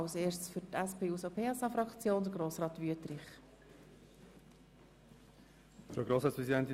Zuerst hat für die SPJUSO-PSA-Fraktion Grossrat Wüthrich das Wort.